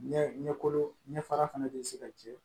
Ɲɛkolon ɲɛ fara fana bɛ se ka tiɲɛ